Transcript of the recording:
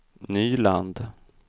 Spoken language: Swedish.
Nyland